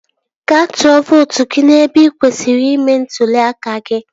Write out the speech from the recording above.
Gaa tụọ vootu gị n'ebe ị kwesịrị ime ntụli aka gị